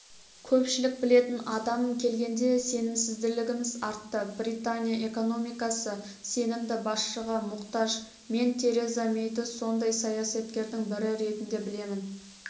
көпшілік білетін адам келгенде сенімділігіміз артты британия экономикасы сенімді басшыға мұқтаж мен тереза мэйді сондай саясаткердің бірі ретінде білемін